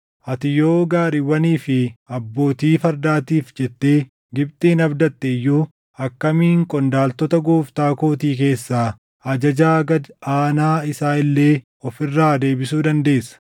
Ati yoo gaariiwwanii fi abbootii fardaatiif jettee Gibxin abdatte iyyuu akkamiin qondaaltota gooftaa kootii keessaa ajajaa gad aanaa isaa illee of irraa deebisuu dandeessa?